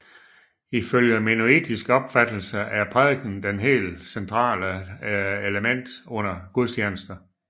Ifølge mennonittisk opfattelse er prædiken det helt centrale element under gudstjenester